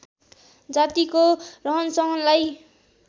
जातिको रहनसहनलाई